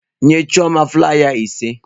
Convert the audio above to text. Nye chioma flaiya ise.